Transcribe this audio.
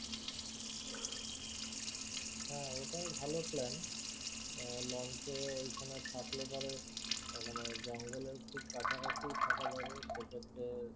হাঁ ওটাই ভালো plan হম launch এ ঐখানে থাকলে পরে মানে জঙ্গলের খুব কাছাকাছি থাকা যাবে সেক্ষেত্রে